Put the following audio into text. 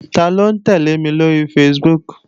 Taló ń tẹ́lẹ̀ mi lóri Facebook?